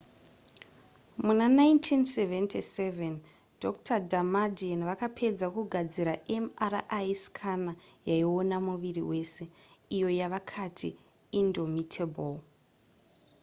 muna 1977 dr damadian vakapedza kugadzira mri scanner yaiona muviri wese iyo yavakati indomitable